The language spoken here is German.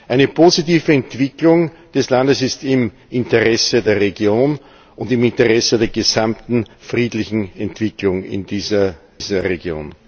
Eine positive Entwicklung des Landes ist im Interesse der Region und im Interesse der gesamten friedlichen Entwicklung in dieser Region.